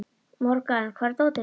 Morgan, hvar er dótið mitt?